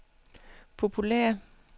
populære